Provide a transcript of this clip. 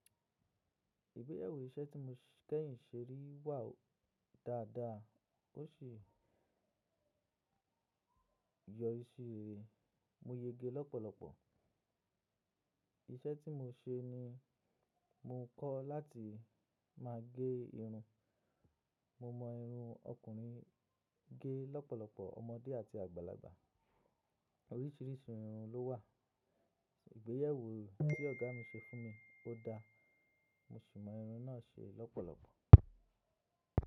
Ìgbéyewo iṣẹ́ tí mo kẹ́yìn ṣe rí wà dáadáa, ó ṣi yọ ri si rere Mo yege lọ́pọ̀lọpọ̀. Iṣẹ́ tí mo ṣe ni mo kọ́ láti máa gé irun. Mo mọ irun ọkùnrin gé lọ́pọ̀lọpọ̀, ọmọdé àti àgbàlagbà. Oríṣìíríṣìí irun ló wà. Ìgbéyewo tí ọ̀gá mi ṣe fún mi, ó da. Mo sì mọ irun náà ṣe lọ́pọ̀lọpọ̀.